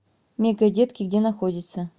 мегадетки где находится